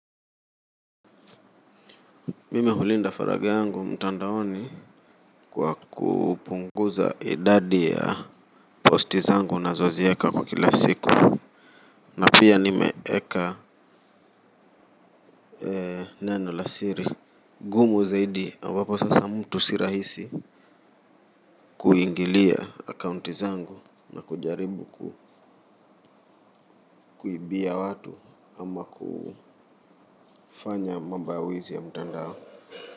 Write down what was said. Mimi hulinda faragha yangu mtandaoni kwa kupunguza idadi ya posti zangu nazoziweka kwa kila siku na pia nimeweka ee neno la siri gumu zaidi ambapo sasa mtu si rahisi kuingilia akaunti zangu na kujaribu kuibia watu ama kufanya mambo ya wezi ya mtandao.